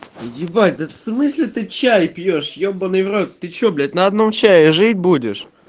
ебать да в смысле ты чай пьёшь ебанный в рот ты что блять на одном чае жить будешь